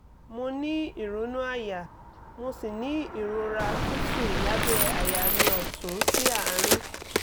mo ní ìrunú àyà mo sì ní ìrora tútù lábẹ́ àyà mi ọ̀tún sí àárín